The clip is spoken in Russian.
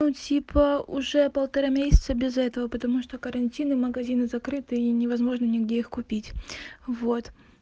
но типа уже полтора месяца без этого потому что карантин и магазины закрыты и невозможно нигде их купить вот